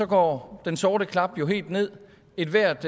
går den sorte klap helt nederst ethvert